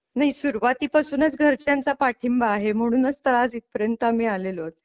नाही सुरुवातीपासूनच घरच्यांचा पाठिंबा आहे म्हणूनच तर आज इथपर्यंत आम्ही आलेलो आहोत.